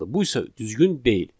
Bu isə düzgün deyil.